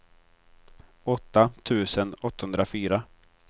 åtta tusen åttahundrafyra